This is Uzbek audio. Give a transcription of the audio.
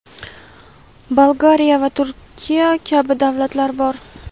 Bolgariya va Turkiya kabi davlatlar bor.